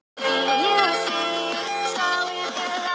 Bílstjóri skólabíls datt út úr bílnum